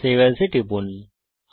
save As এ টিপুন